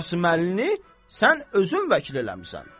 Qasıməlini sən özün vəkil eləmisən.